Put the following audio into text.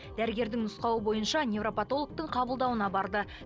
дәрігердің нұсқауы бойынша невропотологтың қабылдауына барды